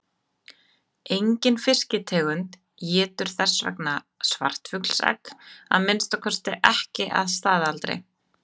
Engin fisktegund étur þess vegna svartfuglsegg, að minnsta kosti ekki að staðaldri.